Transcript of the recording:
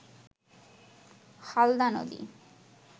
হালদা নদী